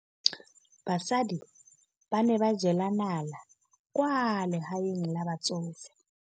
Basadi ba ne ba jela nala kwaa legaeng la batsofe.